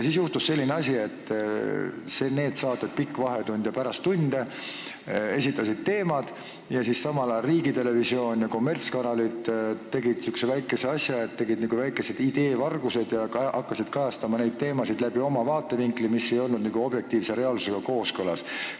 Siis juhtus aga nii, et saated "Pikk vahetund" ja "Pärast tunde" esitasid teemad, aga samal ajal riigitelevisioon ja kommertskanalid tegid väikesed ideevargused ja hakkasid kajastama neid teemasid oma vaatevinklist, mis ei olnud objektiivse reaalsusega kooskõlas.